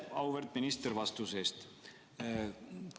Aitäh, auväärt minister, vastuse eest!